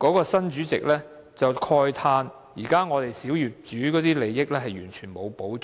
新業主法團的主席慨嘆小業主的利益完全沒有保障。